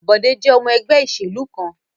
Bọ̀dé jẹ́ ọmọ ẹgbẹ́ ìṣèlú kan.